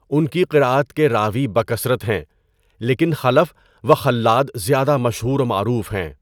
ان کی قراءت کے راوی بکثرت ہیں لیکن خَلَف و خَلَّاد زیادہ مشہور و معروف ہیں۔